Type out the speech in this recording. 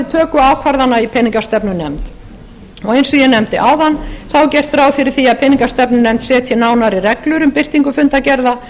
töku ákvarðana í peningastefnunefnd og ég nefndi áðan er gert ráð fyrir því að peningastefnunefnd setji nánari reglur um birtingu fundargerða